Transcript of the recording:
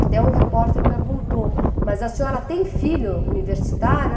Até um repórter perguntou, mas a senhora tem filho universitário?